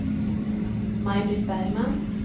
Maj-Britt Bergman